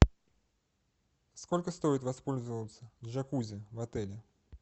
сколько стоит воспользоваться джакузи в отеле